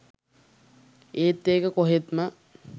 ඒත් ඒක කොහෙත්ම